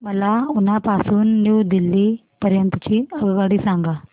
मला उना पासून न्यू दिल्ली पर्यंत ची आगगाडी सांगा